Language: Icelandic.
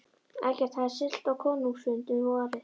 Eggert hafði siglt á konungsfund um vorið.